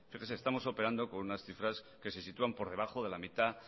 fíjese estamos operando con unas cifras que se sitúan por debajo de la mitad